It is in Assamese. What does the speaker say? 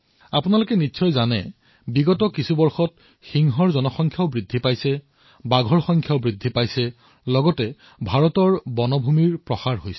আপোনালো এয়াও জানে যে বিগত কিছু বৰ্ষত ভাৰতত সিংহৰ সংখ্যা বৃদ্ধই পাইছে বাঘৰ সংখ্যা বৃদ্ধি পাইছে ভাৰতীয় বনক্ষেত্ৰ বৃদ্ধি পাইছে